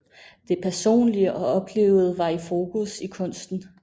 Det personlige og oplevede var i fokus i kunsten